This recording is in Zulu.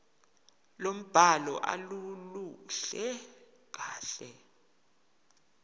lombhalo aluluhle kahle